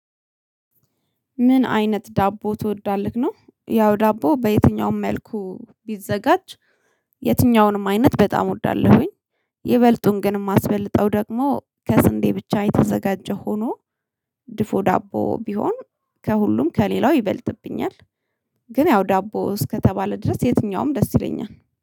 ምን አይነት ዳቦ ትወዳለህ ነው? ያው ዳቦ በየትኛውም መልኩ ቢዘጋጅ የትኛውንም አይነት በጣም ወዳለሁኝ። ይበልጡን ግን የማስበልጠው ደግሞ ከስንዴ ብቻ የተዘጋጀ ሆኖ ድፎ ዳቦ ቢሆን ከሁሉም ከሌላው ይበልጥብኛል። ግን ያው ዳቦ እስከተባለ ድረስ የትኛውም ደስ ይለኛል